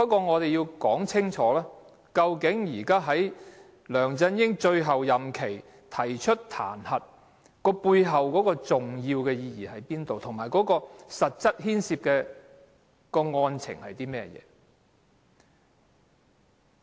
我們要說清楚，究竟在梁振英任期的最後階段提出彈劾的重要意義何在，以及實際牽涉的案情。